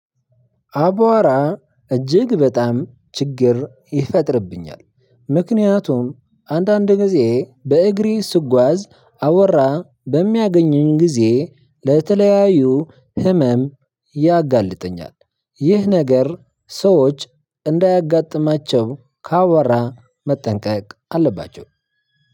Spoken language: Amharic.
አቧራ እጅግ በጣም ችግር ይፈጥርብኛል፤ ምክንያቱም አንዳንድ ጊዜ በእግሬ ስጓዝ አቧራ በሚያገኘኝ ጊዜ ለተለያዩ ህመም ያጋልጥኛል። ይህ ነገር ሰዎች እንዳያጋጥማቸው ከአቧራ መጠንቀቅ አለባቸው።